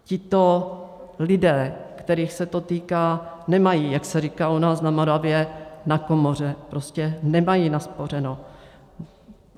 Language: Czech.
Tito lidé, kterých se to týká, nemají, jak se říkalo u nás na Moravě, na komoře, prostě nemají naspořeno.